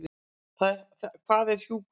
Hvað er hjúkrun?